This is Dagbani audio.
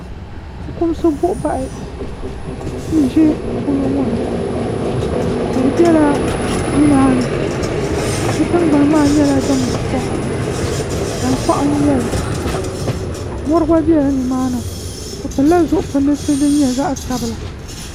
ƒɔkumisi buɣ' bahi n ʒɛ polo ŋɔ ni tihi bɛla nimani di tiŋgbani maa nyɛla din be soŋ tankpa n nyɛli mori gba bɛla ni maani be pɛlila zuɣ' pɛlinisi zaɣ' sabila